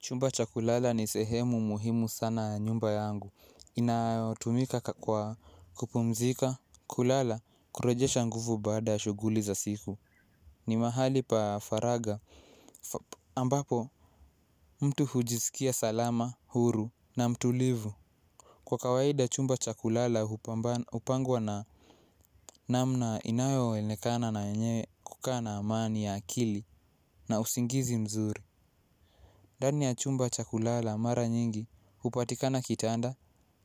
Chumba chakulala ni sehemu muhimu sana nyumba yangu. Inayo tumika kakwa kupumzika kulala kurejeha nguvu baada shuguli za siku. Ni mahali pa faraga ambapo mtu hujisikia salama, huru na mtulivu. Kwa kawaida chumba chakulala upangwa na namna inayo onekana na yenye kukaa na amani ya akili na usingizi mzuri. Ndani ya chumba chakulala mara nyingi upatikana kitaanda